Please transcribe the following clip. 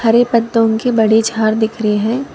अरे पत्तों की बड़ी झाड़ दिख रही है।